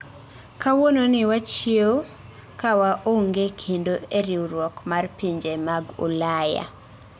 kawuononi wachiewo ka waonge kendo e riwruok mar pinje mag Ulaya.